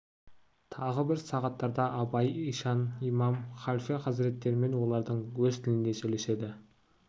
тағы бір сағаттарда абай ишан имам халфе хазіреттермен олардың өз тілінде сөйлеседі